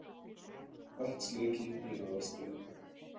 Vatnsleki í Aðalstræti